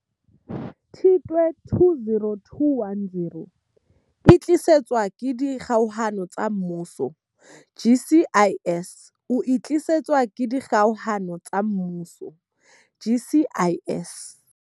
Tshitwe 2021, o e tlisetswa ke Dikgokahano tsa Mmuso GCIS. O e tlisetswa ke Dikgokahano tsa Mmuso GCIS.